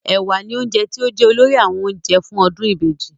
Ẹ̀wà ni oúnjẹ tí ó jẹ́ olórí nínú àwọn oúnjẹ fún ọdún ìbejì